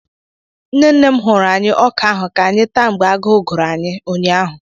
Nne nne m hụrụ anyi ọka ahụ ka anyị taa mgbe agụụ gụrụ anyị ụnyaahụ.